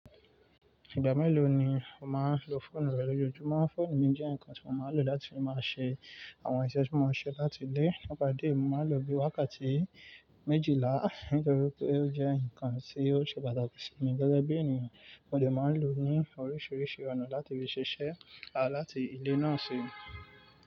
Ìgbà mélòó ni o máa ń lo fóònù rẹ lójoojúmọ́? Fóònù mi jẹ́ ǹkan tí mo máa ń lò láti fi máa ṣe àwọn iṣẹ́ tí mo máa ń ṣe láti ilé. Nípa ìdí èyí, mo máa n lò ó bí i wákàtí méjìlá, nítorí pé ó jẹ́ ǹkan tí ó ṣe pàtàkì sí mi gẹ́gẹ́ bí ènìyàn. Mo lè máa ń lò ó ní oríṣiríṣi ọ̀nà láti fi ṣiṣẹ́, àá láti di náà sí.